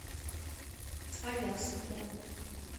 аяс бронь